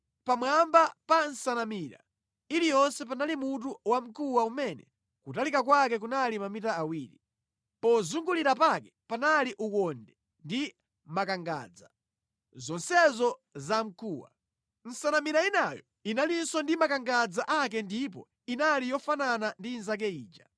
Pamwamba pa nsanamira iliyonse panali mutu wamkuwa umene kutalika kwake kunali mamita awiri. Pozungulira pake panali ukonde ndi makangadza, zonsezo za mkuwa. Nsanamira inayo inalinso ndi makangadza ake ndipo inali yofanana ndi inzake ija.